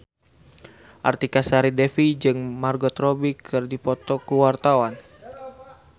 Artika Sari Devi jeung Margot Robbie keur dipoto ku wartawan